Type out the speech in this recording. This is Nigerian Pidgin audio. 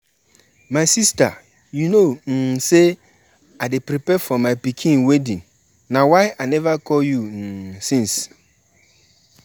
Na goat and chicken we dey use appease di gods for my village.